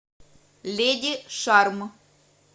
леди шарм